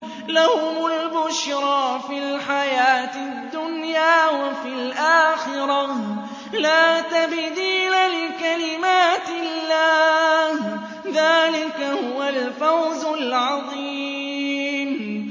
لَهُمُ الْبُشْرَىٰ فِي الْحَيَاةِ الدُّنْيَا وَفِي الْآخِرَةِ ۚ لَا تَبْدِيلَ لِكَلِمَاتِ اللَّهِ ۚ ذَٰلِكَ هُوَ الْفَوْزُ الْعَظِيمُ